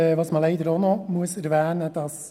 Was man leider auch noch erwähnen muss: